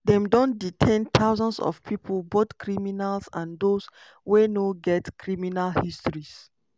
dem don detain thousands of pipo both criminals and those wey no get criminal histories.